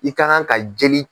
I kan ka ka jeli